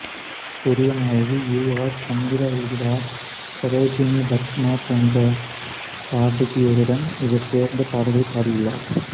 Periyanayaki U R Chandra உடுதா சரோஜினி பத்மா போன்ற பாடகியருடன் இவர் சேர்ந்து பாடல்கள் பாடியுள்ளார்